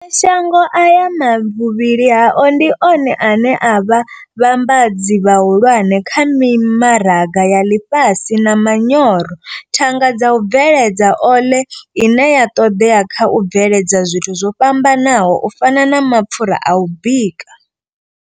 Mashango aya vhuvhili hao ndi one ane a vha vhambadzi vhahulwane kha mimaraga ya ḽifhasi vha manyoro, thanga dza u bveledza ole ine ya ṱoḓea kha u bveledza zwithu zwo fhambanaho u fana na mapfura a u bika.